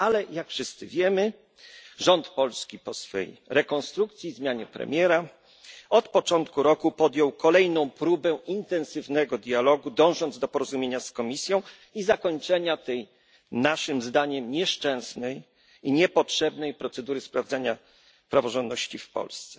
Ale, jak wszyscy wiemy, rząd polski, po swej rekonstrukcji i zmianie premiera, od początku roku podjął kolejną próbę intensywnego dialogu, dążąc do porozumienia z Komisją i zakończenia tej, naszym zdaniem, nieszczęsnej i niepotrzebnej procedury sprawdzania praworządności w Polsce.